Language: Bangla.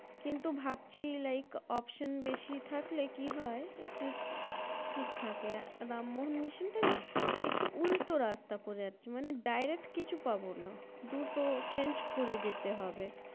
কিন্তু ভাবছি Like Option বেশি থাকলে কি হয় একটু ঠিক থাকে। রামমোহন Mission টা নাহ্ একটু উল্টো রাস্তা পড়ে যাচ্ছে মানে Direct কিছু পাবো না। দুটো Change করে যেতে হবে।